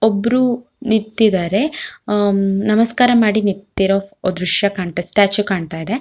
ಒಬ್ರು ನಿತ್ತಿದರೆ ಅಮ್ ನಮಸ್ಕಾರ ಮಾಡಿ ನಿಂತಿರೋ ದೃಶ್ಯ ಕಾಣುತ್ತೆ ಸ್ಟ್ಯಾಚು ಕಾಣತ್ತಾ ಇದೆ.